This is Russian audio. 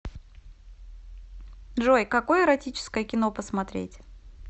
джой какое эротическое кино посмотреть